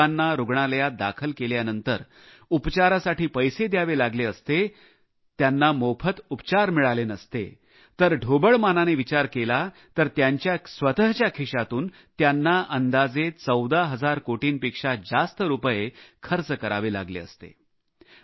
जर गरीबांना रुग्णालयात दाखल केल्यानंतर उपचारासाठी पैसे द्यावे लागले असते त्यांना मोफत उपचार मिळाले नसते तर ढोबळमानाने विचार केला तर त्यांच्या स्वतच्या खिशातून त्यांना अंदाजे 14 हजार कोटींपेक्षा जास्त रुपये खर्च करावे लागले असते